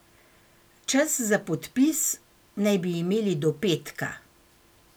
Čas za podpis naj bi imeli do petka.